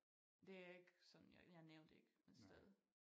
Det ikke sådan jeg nævnte ikke et sted